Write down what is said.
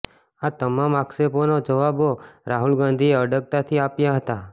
આ તમામ આક્ષેપોના જવાબો રાહુલ ગાંધીએ અડગતાથી આપ્યા હતા